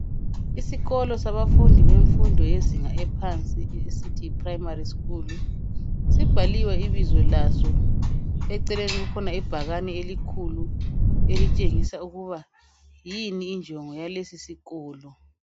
Isikolo sabafundi bemfundo yezinga ephansi esithi yi primari sikhulu sibhaliwe ibizo laso eceleni kukhona ibhakane elikhulu elitshengisa ukuba yini injongo yalesi sikolo.